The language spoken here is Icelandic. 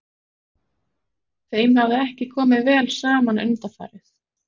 Þeim hafði ekki komið vel saman undanfarið.